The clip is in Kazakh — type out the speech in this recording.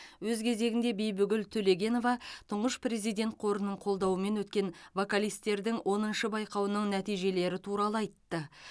өз кезегінде бибігүл төлегенова тұңғыш президент қорының қолдауымен өткен вокалистердің оныншы байқауының нәтижелері туралы айтты